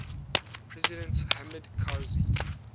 president hamid karzai